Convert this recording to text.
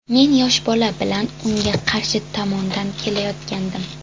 Men yosh bola bilan unga qarshi tomondan kelayotgandim.